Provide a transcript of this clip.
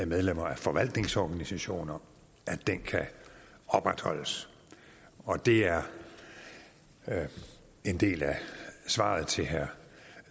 medlemmer af forvaltningsorganisationer kan opretholdes og det er en del af svaret til herre